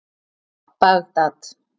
Bagdad